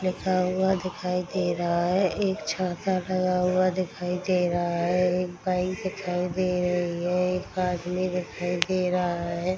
लिखा हुआ दिखाई दे रहा है एक छाता लगा हुआ दिखाई दे रहा है एक बाइक दिखाई दे रही है एक आदमी दिखाई दे रहा है।